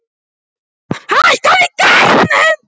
Tirsa, hækkaðu í græjunum.